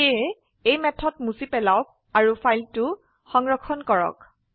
সেয়ে এই মেথড মুছি পালাওক আৰু ফাইলটো সংৰক্ষণ কৰক